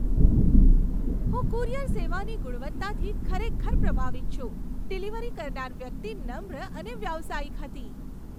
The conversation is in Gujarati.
હું કુરિયર સેવાની ગુણવત્તાથી ખરેખર પ્રભાવિત છું. ડિલિવરી કરનાર વ્યક્તિ નમ્ર અને વ્યાવસાયિક હતી.